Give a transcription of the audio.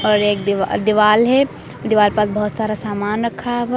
और एक दीवा दीवाल है दीवार पास बहोत सारा सामान रखा हुआ--